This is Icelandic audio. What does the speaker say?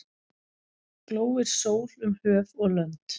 Glóir sól um höf og lönd.